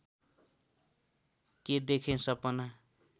के देखेँ सपना